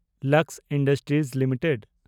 Lux industries limited